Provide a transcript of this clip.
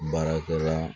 Baarakɛla